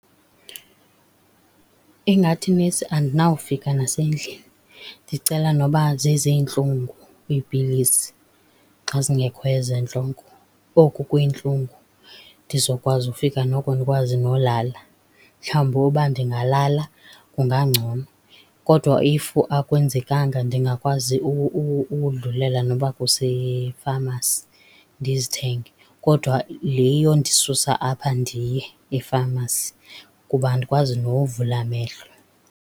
Ingathi nesi andinawufika nasendlini, ndicela noba zezeentlungu iipilisi xa zingekho ezentloko. Oku kweentlungu ndizokwazi ufika noko ndikwazi nolala. Mhlawumbi uba ndingalala kungangcono. Kodwa if akwenzekanga ndingakwazi udlulela noba kusefamasi ndizithenge, kodwa le yondisusa apha ndiye efamasi kuba andikwazi nokuvula amehlo.